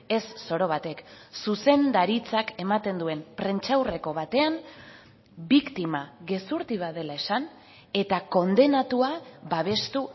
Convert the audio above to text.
ez zoro batek zuzendaritzak ematen duen prentsaurreko batean biktima gezurti bat dela esan eta kondenatua babestu